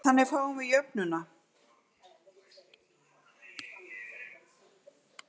Þannig fáum við jöfnuna